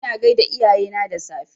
Ina gaida iyayena da safe